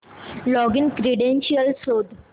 login credentials शोध